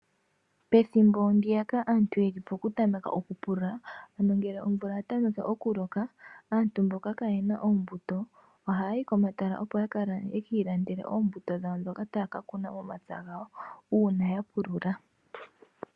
Pethimbo ndiyaka aantu yeli pokutameka okupulula ano ngele omvula ya tameke okuloka aantu mboka kaayena oombuto ohaya yi komatala opo yeki ilandele oombuto ndhoka taya ka kuna momapya gawo uuna ya pulula.